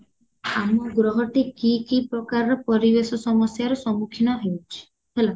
ଆମ ଗ୍ରହ ଟି କି କି ପ୍ରକାରର ପରିବେଶ ସମସ୍ୟାରେ ସମ୍ମୁଖୀନ ହେଉଚି ହେଲା